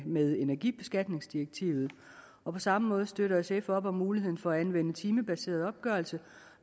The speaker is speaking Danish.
med energibeskatningsdirektivet og på samme måde støtter sf op om muligheden for at anvende timebaseret opgørelse